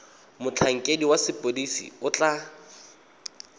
motlhankedi wa sepodisi o tla